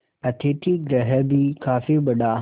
अतिथिगृह भी काफी बड़ा